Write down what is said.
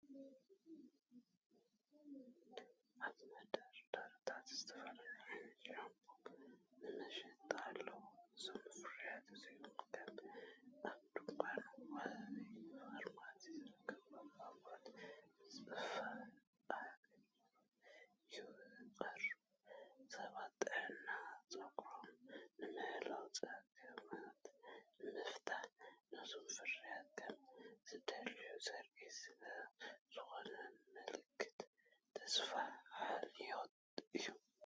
ኣብ መደርደሪታት ዝተፈላለዩ ዓይነታት ሻምፖ ንመሸጣ ኣለዉ። እዞም ፍርያት እዚኦም ከም ኣብ ድኳን ወይ ፋርማሲ ዝርከቡ ኣቑሑት ብጽፉፍንኣገባብ ይቐርቡ። ሰባት ጥዕና ጸጉሮም ንምሕላውን ጸገማት ንምፍታሕን ነዞም ፍርያት ከም ዝደልዩ ዘርኢ ስለ ዝኾነ፡ ምልክት ተስፋን ሓልዮትን እዩ።